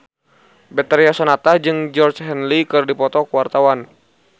Betharia Sonata jeung Georgie Henley keur dipoto ku wartawan